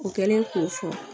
O kɛlen k'o fɔ